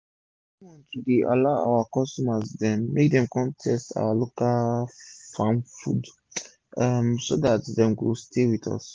everi month we dey allow our customer dem make dem kon taste our local farm food um so dat dem go stay with us